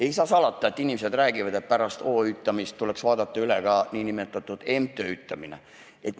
" Ei saa salata, et inimesed räägivad, et pärast OÜtamist tuleks üle vaadata ka MTÜtamine.